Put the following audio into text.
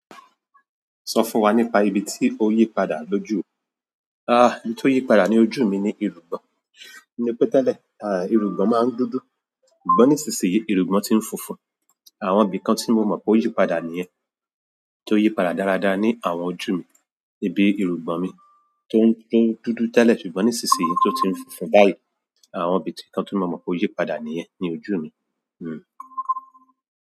Sọ fún wa nípa ibi tí ó yípadà lójú ò. N tí o yípadà ní ojú mi ni irùngbọ̀n. Ni pé tẹ́lẹ̀, irùngbọ̀n máa ń dúdú. Ṣùgbọ́n nísinsìnyí, irùngbọ̀n ti ń funfun. Àwọn ibìkan tí mo mọ̀ pé ó yípadà nìyẹn. Tó yípadà dáradára ní àwọn ojú mi. Ibi irugbọn mi tó ń, tó ń dúdú tẹ́lẹ̀ ṣùgbọ́n nísinsìnyí tó ti ń funfun báyìí. Àwọn ibìkan tí mo mọ̀ pé ó yípadà nìyẹn ní ojú mi.